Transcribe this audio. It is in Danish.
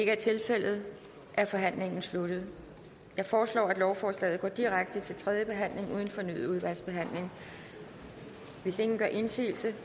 ikke er tilfældet er forhandlingen sluttet jeg foreslår at lovforslaget går direkte til tredje behandling uden fornyet udvalgsbehandling hvis ingen gør indsigelse